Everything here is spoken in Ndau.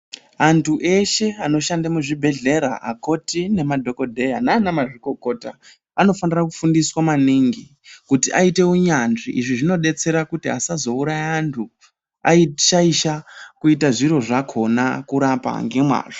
Antu eshe anoshande muzvibhedhlera akoti nemadhokodheya nana mazvikokota anofanira kufundiswa maningi kuti aite unyanzvi .Izvi zvinodetsera kuti asazouraya antu ashaisha kuita zviro zvakhona kurapa ngemwazvo.